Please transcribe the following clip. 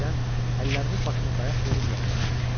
Birdən əllərini başına dayaq verib yalvardı.